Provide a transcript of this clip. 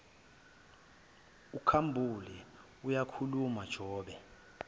ukhambule uyakhuluma jobe